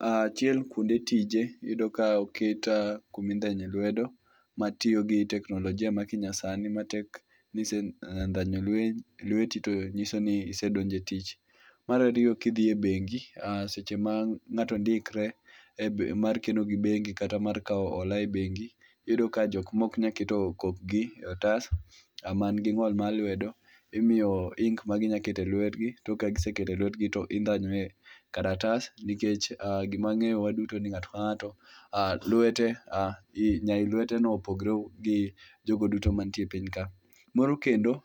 Ah achiel kuonde tije iyudo ka oket kuma indhanye lwedo matiyo gi teknolojia ma kinyasani manyiso ni ka isendhanyo lweti to nyiso ni isedonjo e tich. Mar ariyo ka idhi e bengi seche ma ng'ato ndikre e mar keno gi bengi kata mar kawo hola e bengi iyudo ka jok maok nyal keto kokgi e otas, man gi ng'ol mar lwedo imiyo ink maginyalo keto e lwetgi, ka giseketo ink to gi ndhanyo e kalatas, nikech gima ang'eyo waduto ni ng'ato kang'ato lwete nyai lweteno opogore gi jogo duto mantie e piny ka. Moro kendo,